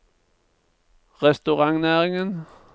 restaurantnæringen